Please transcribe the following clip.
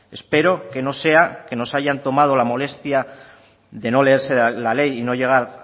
espero que no sea que no se hayan tomado la molestia de no leerse